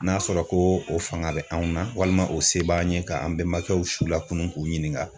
N'a sɔrɔ ko o fanga bɛ anw na walima o se b'an ye ka an bɛmakɛw su lakunu k'u ɲininka.